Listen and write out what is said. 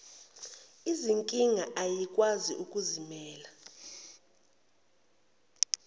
izinkinga ayikwazi ukuzimela